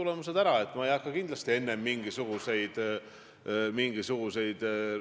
Ma tean seda, et justiitsminister tõesti on kohtunud Reformierakonna fraktsiooniga.